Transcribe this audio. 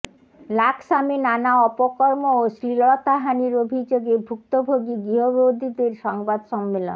লাকসামে নানা অপকর্ম ও শ্লীলতাহানির অভিযোগে ভুক্তভোগি গৃহবধূদের সংবাদ সম্মেলন